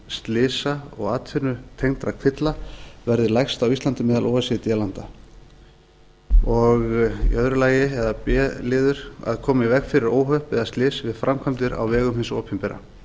slysa og atvinnutengdra kvilla verði lægst á íslandi meðal o e c d landa b koma í veg fyrir óhöpp eða slys við framkvæmdir á vegum hins opinbera